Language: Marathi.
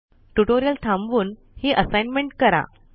ट्यूटोरियल थांबवून हि असाइनमेंट करा